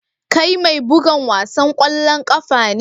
Kai mai bugan wasan kwallon kafa ne?